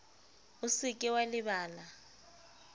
o se ke wa lebala